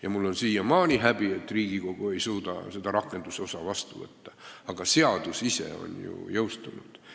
Ja mul on siiamaani häbi, et Riigikogu ei suuda seda rakendamise seadust vastu võtta, aga seadus ise on ju jõustunud.